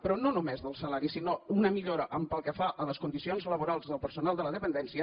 però no només del salari sinó una millora pel que fa a les condicions laborals del personal de la dependència